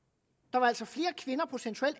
der var altså flere kvinder procentuelt